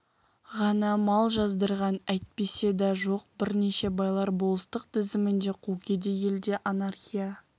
ғана мал жаздырған әйтпесе да жоқ бірнеше байлар болыстық тізімінде қу кедей елде анархия